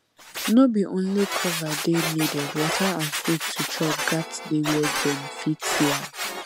no be only cover dey needed water and food to chop gats dey where dem fit see am